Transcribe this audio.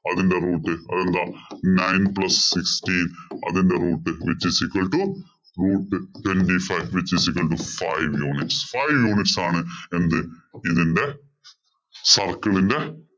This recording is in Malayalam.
അതിന്‍റെ root അതെന്താ? nine plus sixteen അതിന്‍റെ root which is equal to root twenty five which is equal to five units. Five units ആണ് എന്ത്? ഇതിന്‍റെ circle ഇന്‍റെ